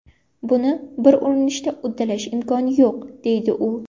Buni bir urinishda uddalash imkoni yo‘q”, deydi u.